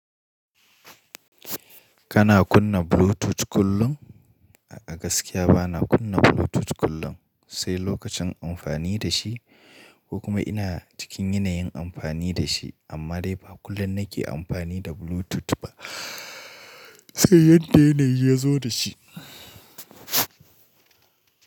Kana kunna Bluetooth kullum? A gaskiya bana kunna Bluetooth kullum, sai lokacin amfani da shi, ko kuma ina cikin yanayin amfani da shi. Amma dai ba kullum nake amfani da Bluetooth ba, sai yadda yanayi ya zo da shi.